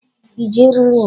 I ji eriri m?